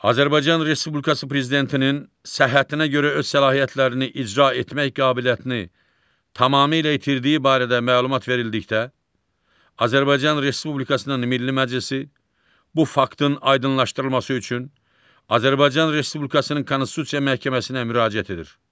Azərbaycan Respublikası prezidentinin səhhətinə görə öz səlahiyyətlərini icra etmək qabiliyyətini tamamilə itirdiyi barədə məlumat verildikdə Azərbaycan Respublikasının Milli Məclisi bu faktın aydınlaşdırılması üçün Azərbaycan Respublikasının Konstitusiya Məhkəməsinə müraciət edir.